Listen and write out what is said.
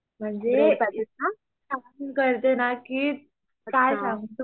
म्हणजे करते ना की काई सांगू तुम्हाला